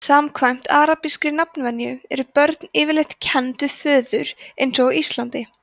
samkvæmt arabískri nafnvenju eru börn yfirleitt kennd við föður eins og á íslandi